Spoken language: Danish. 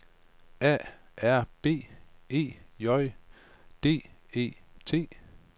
A R B E J D E T